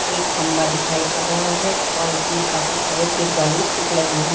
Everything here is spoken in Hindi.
एक खंभा दिखाई पड़ रहा है और इसमें काफी सारे दिलवाले स्टिक लगी हु--